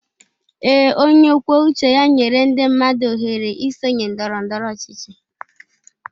Ee, onye kwuo uche ya nyere ndị mmadụ ọhere isonye ndọrọ ndọrọ ọchịchị.